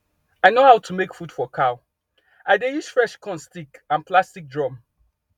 i no how to make food for cow i dey use fresh corn stick and plastic drum